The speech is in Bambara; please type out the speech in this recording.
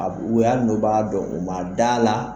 u y'a bɔbaga dɔ ye u ma da la